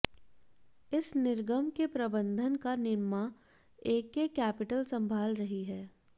इस निर्गम के प्रबंधन का निम्मा एके कैपिटल संभाल रही है